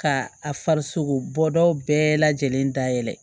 Ka a farisogo bɔdaw bɛɛ lajɛlen dayɛlɛ